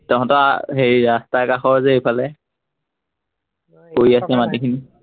তহঁতৰ হেৰি ৰাস্তাৰ কাষৰ যে এইফালে পৰি আছে মাটিখিনি